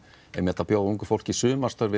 að bjóða ungu fólki sumarstörf inn